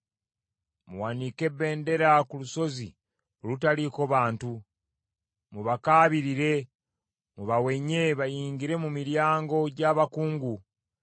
Muwanike bbendera ku lusozi olutaliiko bantu, mubakaabirire mubawenye bayingire mu miryango gy’abakungu.